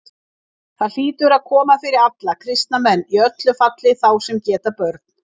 Það hlýtur að koma fyrir alla kristna menn, í öllu falli þá sem geta börn.